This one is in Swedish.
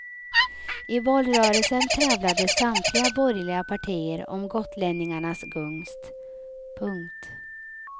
I valrörelsen tävlade samtliga borgerliga partier om gotlänningarnas gunst. punkt